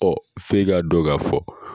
f'e k'a dɔn k'a fɔ.